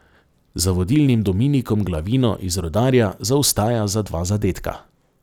Za vodilnim Dominikom Glavino iz Rudarja zaostaja za dva zadetka.